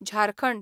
Jharkhand